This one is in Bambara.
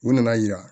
U nana yira